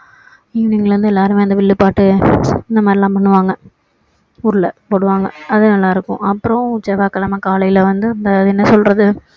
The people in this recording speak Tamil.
evening ல இருந்து எல்லாரும் அந்த வில்லுப்பாட்டு இந்த மாதிரிலாம் பண்ணுவாங்க ஊருல போடுவாங்க அது நல்லா இருக்கும் அப்பறோம் செவ்வாய்க்கிழமை காலைல வந்து அந்த அது என்ன சொல்றது